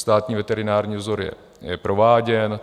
Státní veterinární vzor je prováděn.